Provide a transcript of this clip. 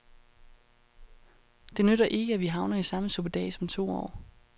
Det nytter ikke, at vi havner i samme suppedas om to år.